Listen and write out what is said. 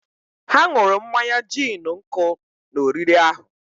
ha ṅụrụ mmanya gin nkụ na oriri ahụ